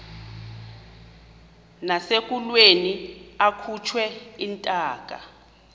nasekulweni akhutshwe intaka